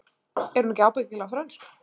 Er hún ekki ábyggilega frönsk?